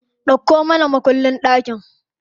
Dauko mana mukullin ɗakin.